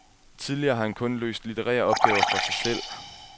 Tidligere har han kun løst litterære opgaver for sig selv.